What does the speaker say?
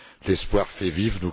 L'espoir fait vivre!